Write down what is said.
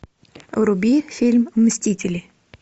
вруби фильм мстители